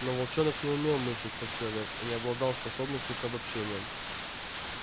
но волчонок не умел мыслить как человек и не обладал способностью к обобщениям